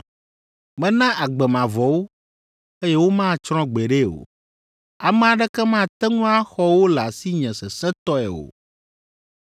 Mena agbe mavɔ wo, eye womatsrɔ̃ gbeɖe o; ame aɖeke mate ŋu axɔ wo le asinye sesẽtɔe o,